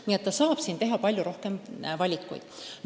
Nii et saab teha palju rohkem valikuid.